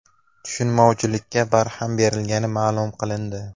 Tushunmovchilikka barham berilgani ma’lum qilindi.